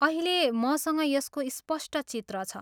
अहिले मसँग यसको स्पष्ट चित्र छ।